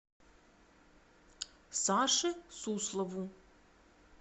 саше суслову